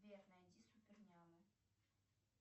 сбер найди супернямы